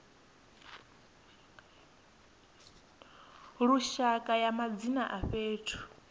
lushaka ya madzina a fhethu